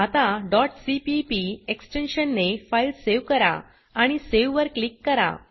आता dot CPP extension ने file save करा आणि सावे वर क्लिक करा